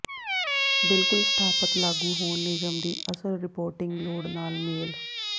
ਬਿਲਕੁਲ ਸਥਾਪਤ ਲਾਗੂ ਹੋਣ ਨਿਯਮ ਦੀ ਅਸਲ ਰਿਪੋਰਟਿੰਗ ਲੋੜ ਨਾਲ ਮੇਲ